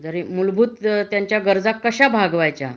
जरी मुलभूत त्यांच्या गरजा कशा भागवायच्या